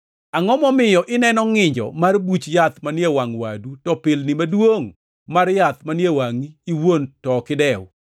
“Angʼo momiyo ineno ngʼinjo mar buch yath manie wangʼ wadu to pilni maduongʼ mar yath manie wangʼi iwuon to ok idew?